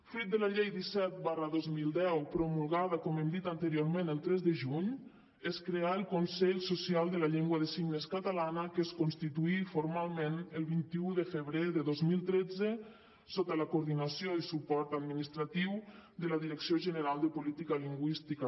fruit de la llei disset dos mil deu promulgada com hem dit anteriorment el tres de juny es creà el consell social de la llengua de signes catalana que es constituí formalment el vint un de febrer de dos mil tretze sota la coordinació i suport administratiu de la direcció general de política lingüística